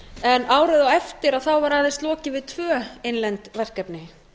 en árið á eftir var aðeins lokið við tvö innlend verkefni